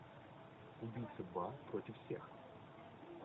убийца два против всех